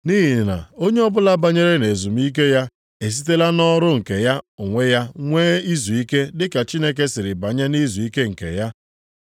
Nʼihi na onye ọbụla banyere nʼezumike ya esitela nʼọrụ nke ya onwe ya nwee izuike dị ka Chineke siri banye nʼizuike nke ya.